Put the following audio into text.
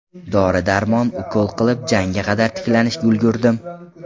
Dori-darmon, ukol qilib, janga qadar tiklanishga ulgurdim.